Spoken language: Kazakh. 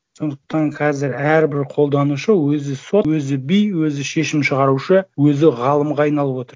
сондықтан қазір әрбір қолданушы өзі сот өзі би өзі шешім шығарушы өзі ғалымға айналып отыр